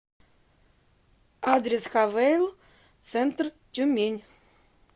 адрес хавейл центр тюмень